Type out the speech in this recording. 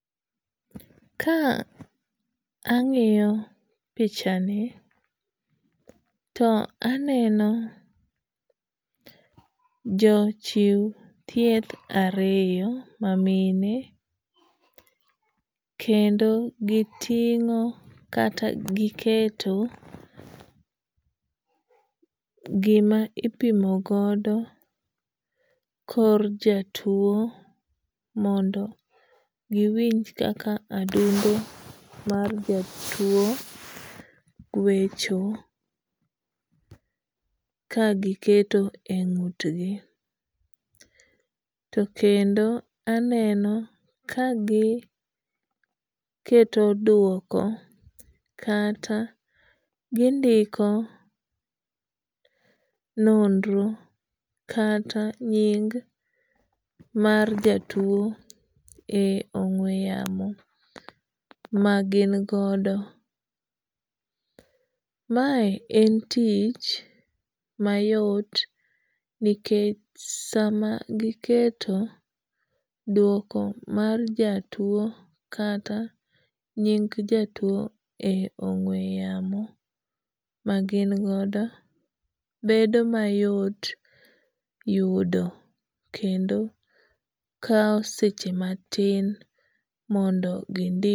Ka ang'iyo pichani to aneno jo chiw thieth ariyo ma mine. Kendo giting'o kata giketo gima ipimo godo kor jatuo mondo giwinj kaka adundo mar jatuo gwecho ka giketo e ng'ut gi. To kendo aneno kagiketo duoko kata gindiko nonro kata nying mar jatuo e ong'we yamo ma gin godo. Mae en tich mayot nikech sama giketo duoko mar jatuo kata nying jatuo e ong'we yamo ma gin godo bedo mayot yudo kendo kaw seche matin mondo gindik.